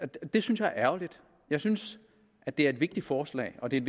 det synes jeg er ærgerligt jeg synes at det er et vigtigt forslag og det er